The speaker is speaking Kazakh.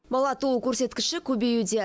бала туу көрсеткіші көбеюде